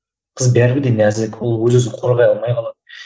қыз бәрібір де нәзік ол өз өзін қорғай алмай қалады